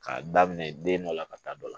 K'a daminɛ den dɔ la ka taa dɔ la